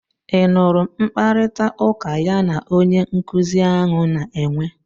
Ị nụrụ mkparịtaụka ya na onye nkuzi ahụ na-enwe?